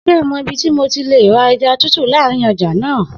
Se ó mọ ibí ti mo ti lè rà ẹja tútù lárin ọjà náà.